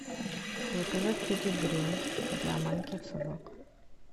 заказать педигри для маленьких собак